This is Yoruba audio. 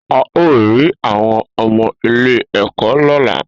A o ri awọn ọmọ ilé ẹkọ lọla